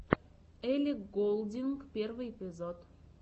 элли голдинг первый эпизод